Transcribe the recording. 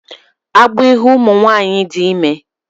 Agbọọ ịhụ ụmụ nwaanyị dị ime